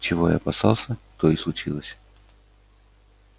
чего я опасался то и случилось